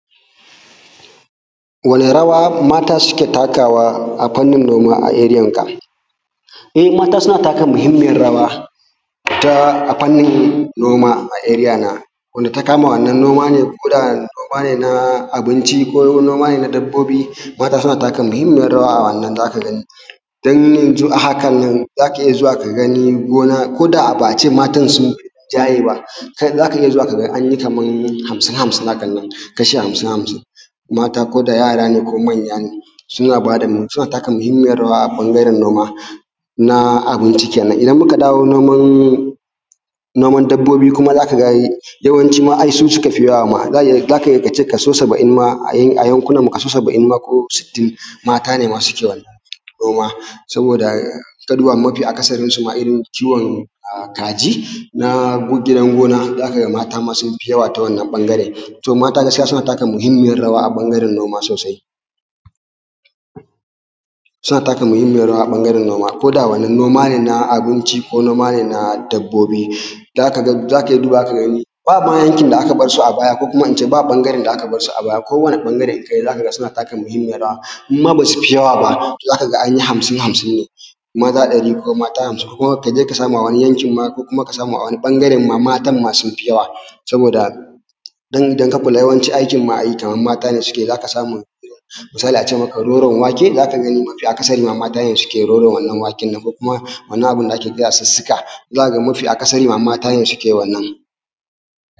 Wani rawa mata suke takawa a fannin noma a area ka? eh mata suna taka muhimmiyar rawa a fannin noma a area na, wanda takama koda noma ne na abinci ko na noma ne na dabbobi, mata suna taka muhimmiyar rawa a wannan zaka gani. Don yanzun a hakanan, zaka iya zuwa ka gani gona, ko da ba a ce matan sun yi rinjaye ba, zaka iyazuwa ka anyi kaman hamsin-hamsin hakannan, kasha hamsin-hamsin, mata ko da yara ne ko manya ne, suna taka muhimmiyar rawa a ɓangaren noma na abinci kenan. Idan muka dawo noman dabbobi kuma zaka ga yawancin ma ai su suka fi yawa ma, zaka iya kace kaso saba’in ma a yankunan mu ko sittin mata ne ma suke wannan noma, saboda ka duba mafi akasarin ciwon kaji na gidan gona zaka ga ma mata sun fi yawa ta wannan ɓangaren. To gaskiya, mata suna taka muhimmiyar rawa a ɓangaren noma sosai, suna taka muhimmiyar rawa a ɓangaren noma, koda wannan noma ne na abinci ko noma ne na dabbobi. Zaka iya dubawa ka gani, bama yankin da aka barsu a baya ko kuma ince ba ɓagaren da aka barsu a baya ko wani ɓangare zaka ga suna taka muhimmiyar rawa, in ma basu fi yawa ba zaka ga anyi hamsin-hamsin ne, maza ɗari ko mata hamsin ko kaje ka samu a wani yankin ma ko kuma ka samu a wani ɓangaren ma matan ma sun fi yawa, saboda idan ka kula, yawancin aikin ma kaman mata ne suke yi, zaka samu, misali a ce maka roron wake, mafi akasari ma mata ne suke wannan roron waken nan ko kuma wannan abun da ake kira sussuka. zaka ga mafi akasari mata ne suke wannan